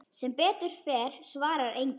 Sem betur fer svarar enginn.